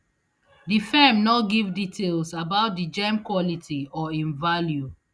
di firm no give details about di gem quality or im value